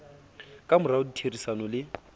ka morao ho ditherisano le